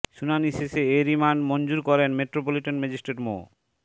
শুনানি শেষে এ রিমান্ড মঞ্জুর করেন মেট্রোপলিটন ম্যাজিস্ট্রেট মো